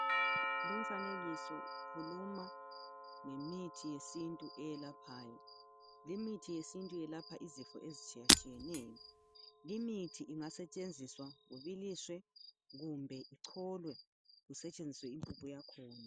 Lumfanekiso ukhuluma ngemithi yesintu eyelaphayo. Limithi yesintu yelapha izifo ezitshiyetshiyeneyo. Limithi ingasetshenziswa ibiliswe kumbe icholwe kusetshenziswe impuphu yakhona.